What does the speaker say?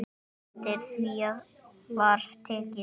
Eftir því var tekið.